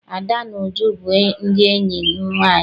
Ada na Uju bụ ndị enyi m nwaanyị.